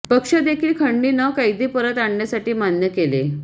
पक्ष देखील खंडणी न कैदी परत आणण्यासाठी मान्य केले